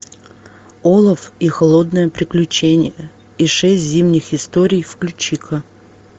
олаф и холодное приключение и шесть зимних историй включи ка